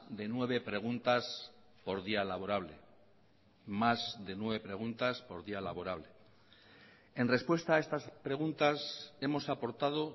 de nueve preguntas por día laborable más de nueve preguntas por día laborable en respuesta a estas preguntas hemos aportado